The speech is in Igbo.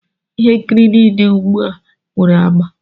Ihe nkiri nile di ugbu a nwere agba.